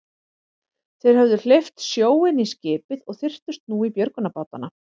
Þeir höfðu hleypt sjó inn í skipið og þyrptust nú í björgunarbátana.